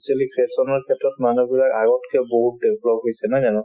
actually fashion ৰ ক্ষেত্ৰত মানুহবোৰে আগতকে বহুত develop হৈছে নহয় জানো